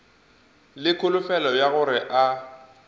le kholofelo ya gore a